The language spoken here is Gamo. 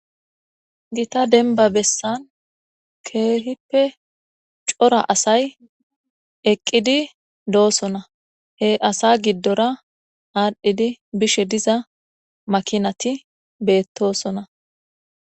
gita denba bessan keehippe cora asay eqqidi doosona he asa giddora aadhdhidi bishe diza makinati beettosona